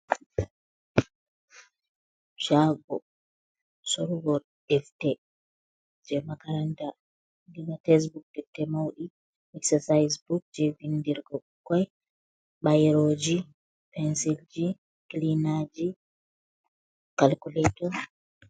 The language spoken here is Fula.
Caago sorrugo defte jey "Makaranta" ɗo ba "tesbuk" defte mawɗi "exsasaayis Buk" jey vinndirgo ɓikkoy, bayrooji, pensilji, kilinaaji "calculator".